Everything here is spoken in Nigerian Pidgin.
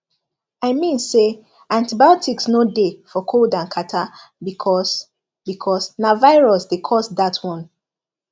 i mean say antibiotics no dey for cold and catarrh because because na virus dey cause dat one